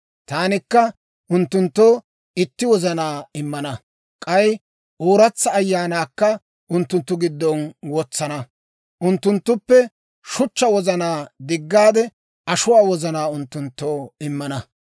Taanikka unttunttoo itti wozanaa immana; k'ay ooratsa ayaanaakka unttunttu giddon wotsana. Unttunttuppe shuchchaa wozanaa diggaade, ashuwaa wozanaa unttunttoo immana.